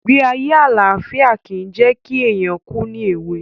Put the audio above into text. Ìgbé ayé àlàfíà ki jẹ̀ ki éyàn kù ni èwe